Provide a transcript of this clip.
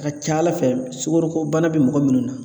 A ka ca Ala fɛ sugoroko bana bɛ mɔgɔ munnu na